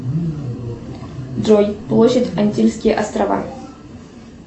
джой площадь антильские острова